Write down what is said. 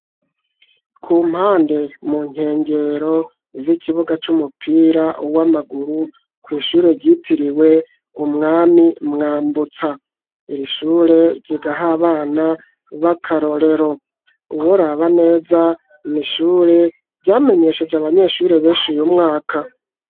Ku mpande mu nkengero z'ikibuga c'umupira w'amaguru kw'ishure ryitiriwe umwami Mwambutsa. Iri shure rigaha abana b'akarorero. Uworaba neza ni ishure ryamenyesheje abanyeshure benshi uyu umwaka